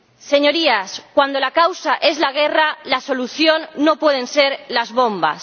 Señorías, cuando la causa es la guerra, la solución no pueden ser las bombas.